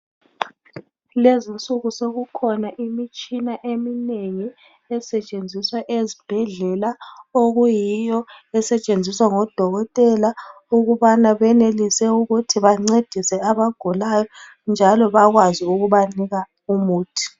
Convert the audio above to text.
Kulezinsuku sekukhona imitshina eminengi esetshenziswa ezibhedlela okuyiyo esetshenziswa ngodokotela ukubana benelise ukuthi bancedise abagulayo njalo bakwazi ukubanika umuthi.